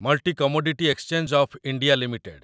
multi commodity exchange of India limited